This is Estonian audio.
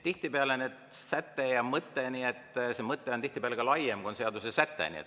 Tihtipeale on see mõte ka laiem, kui on seadusesäte.